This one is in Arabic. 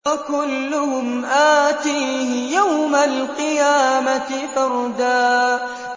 وَكُلُّهُمْ آتِيهِ يَوْمَ الْقِيَامَةِ فَرْدًا